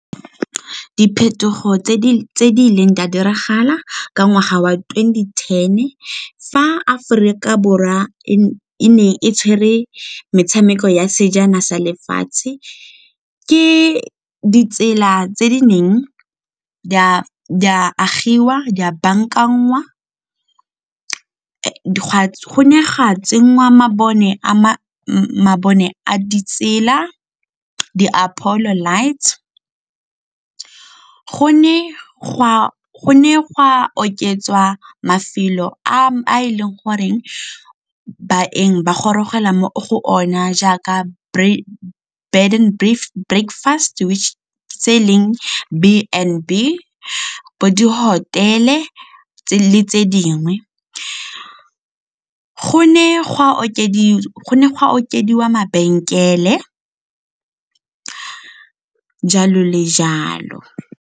Diphetogo tse di ileng di a diragala ka ngwaga wa twenty-ten fa Aforika Borwa e ne e tshwere metshameko ya sejana sa lefatshe. Ke ditsela tse di neng di a agiwa, di a bankangwa, go ne go a tsenngwa mabone a di tsela di-apolo lights. Go ne gwa oketswa mafelo a e leng goreng baeng ba gorogela mo go ona jaaka bed and breakfast tse e leng B and B, bo di-hotel-e le tse dingwe. Go ne gwa okediwa mabenkele, jalo le jalo.